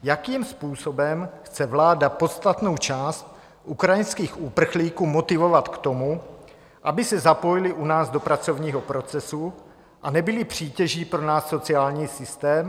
Jakým způsobem chce vláda podstatnou část ukrajinských uprchlíků motivovat k tomu, aby se zapojili u nás do pracovního procesu a nebyli přítěží pro náš sociální systém?